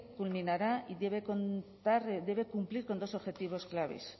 culminará y debe cumplir con dos objetivos claves